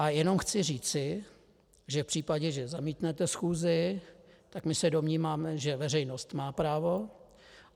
A jenom chci říci, že v případě, že zamítnete schůzi, tak my se domníváme, že veřejnost má právo.